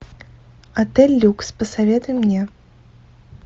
отель люкс посоветуй мне